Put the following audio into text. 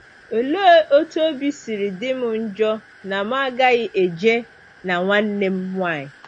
Olee otú obi siri dị m njọ na m agaghị eje na nwanne m nwanyị!